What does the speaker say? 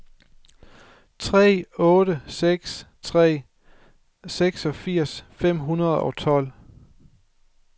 tre otte seks tre seksogfirs fem hundrede og tolv